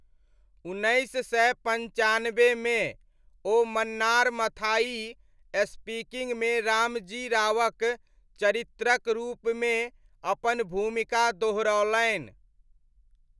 उन्नैस सय पञ्चानब्बेमे, ओ मन्नार मथाई स्पीकिङ्गमे रामजी रावक चरित्रक रूपमे अपन भूमिका दोहरौलनि।